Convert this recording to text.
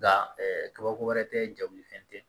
Nka kabako wɛrɛ tɛ jagoli fɛn tɛ